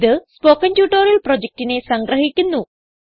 ഇത് spoken tutorial പ്രൊജക്റ്റിനെ സംഗ്രഹിക്കുന്നു